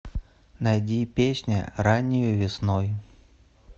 найди песня раннею весной